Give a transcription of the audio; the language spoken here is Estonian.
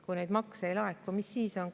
Kui neid makse ei laeku, mis siis on?